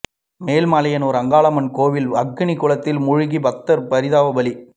மேல்மலையனூர் அங்காளம்மன் கோயில் அக்னி குளத்தில் மூழ்கி பக்தர் பரிதாப பலி